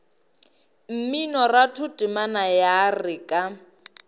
mminoratho temana ya re ka